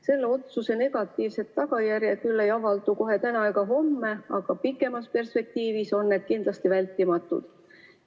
Selle otsuse negatiivsed tagajärjed küll ei avaldu kohe täna ega homme, aga pikemas perspektiivis on need kindlasti vältimatud.